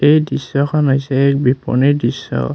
এই দৃশ্যখন হৈছে এক বিপনীৰ দৃশ্য।